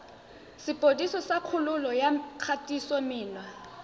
sepodisi sa kgololo ya kgatisomenwa